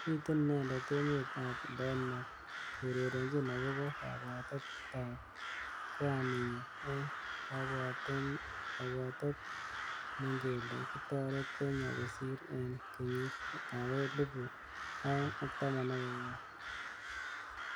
Mitein inendetemet ab Denmakrk kourerenjin akobo kabwatet ab kwaninyi eng kabwatetnkele kitoret Kenya kosir eng kenyit ab elibu aeng ak taman akenge.